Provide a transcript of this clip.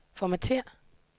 formatér